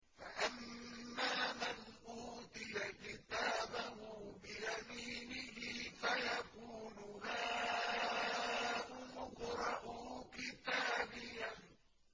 فَأَمَّا مَنْ أُوتِيَ كِتَابَهُ بِيَمِينِهِ فَيَقُولُ هَاؤُمُ اقْرَءُوا كِتَابِيَهْ